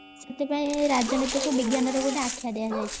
ସେଥିପାଇଁ ରାଜନୀତି କୁ ବିଜ୍ଞାନ ର ଗୋଟେ ଆଖ୍ୟା ଦିଆଯାଇଛି